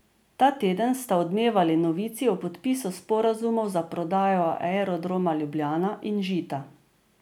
Ta teden sta odmevali novici o podpisu sporazumov za prodajo Aerodroma Ljubljana in Žita.